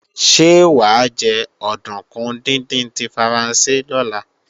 Ṣé wà á jẹ òdùnkún díndín tí Faransé lọ́la?